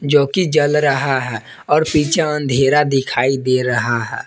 जो कि जल रहा है और पीछे अंधेरा दिखाई दे रहा है।